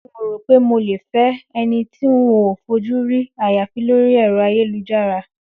N ò rò pé mo lè fé̩ e̩ni tí n ò fojú rí àyàfi lórí è̩ro̩ ayélujára